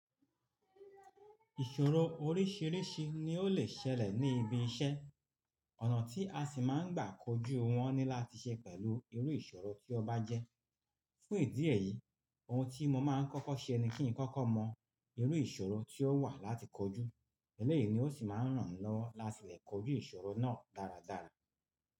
Ìṣòro oríṣìíríṣìí ni ó lè ṣẹlẹ̀ ní ibi iṣẹ́. Ọ̀nà tí a sì máa ń gbà kojú wọn ni láti ṣe pẹ̀lú irú ìṣòro tí ó bá jẹ́. Fún ìdí èyí, ohun tí mo máa ń kọ́kọ́ ṣe ni kí n kọ́kọ́ mọ irú ìṣòro tí ó wà láti kojú. Ẹ́lẹ̀yìí ni ó sì máa ń rànmi lọwo láti lè kojú ìṣòro náà dáradára.